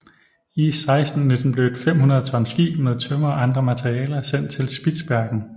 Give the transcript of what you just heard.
I 1619 blev et 500 ton skib med tømmer og andre materialer sendt til Spitsbergen